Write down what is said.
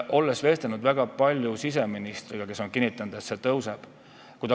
Olen väga palju vestelnud siseministriga ja ta on kinnitanud, et see sinnani tõuseb.